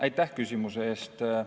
Aitäh küsimuse eest!